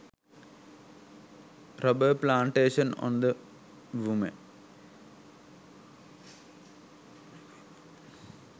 rubber plantation on the woman